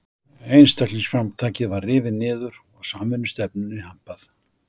Einstaklingsframtakið var rifið niður og samvinnustefnunni hampað.